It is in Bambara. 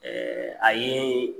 a yee